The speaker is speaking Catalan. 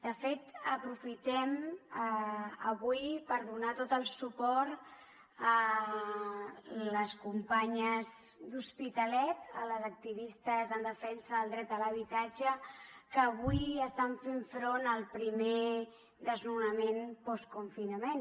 de fet aprofitem avui per donar tot el suport a les companyes de l’hospitalet a les activistes en defensa del dret a l’habitatge que avui estan fent front al primer desnonament postconfinament